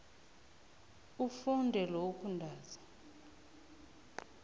ufunde lokhu ntanzi